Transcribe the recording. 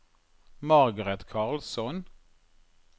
Margaret Karlsson